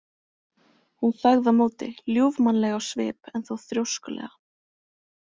Hún þagði á móti, ljúfmannleg á svip en þó þrjóskulega.